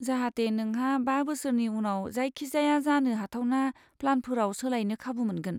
जाहाते नोंहा बा बोसोरनि उनाव जायखिजाया जानो हाथावना प्लानफोराव सोलायनो खाबु मोनगोन।